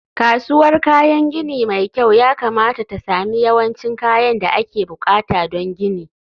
kasuwar kayan gini mai kyau yakamata ta sami yawancin kayan da ake buƙata don gini